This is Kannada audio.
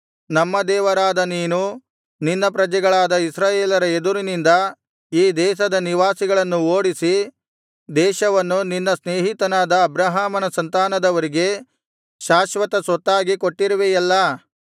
ನಮ್ಮ ದೇವರಾದ ನೀನು ನಿನ್ನ ಪ್ರಜೆಗಳಾದ ಇಸ್ರಾಯೇಲರ ಎದುರಿನಿಂದ ಈ ದೇಶದ ನಿವಾಸಿಗಳನ್ನು ಓಡಿಸಿ ದೇಶವನ್ನು ನಿನ್ನ ಸ್ನೇಹಿತನಾದ ಅಬ್ರಹಾಮನ ಸಂತಾನದವರಿಗೆ ಶಾಶ್ವತ ಸ್ವತ್ತಾಗಿ ಕೊಟ್ಟಿರುವೆಯಲ್ಲಾ